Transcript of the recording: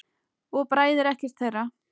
Það bræðir ekkert þeirra.